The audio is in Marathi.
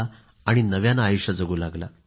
आणि नव्याने आयुष्य जगू लागला